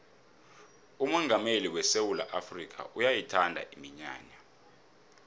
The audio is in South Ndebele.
umongameli wesewula afrikha uyayithanda iminyanya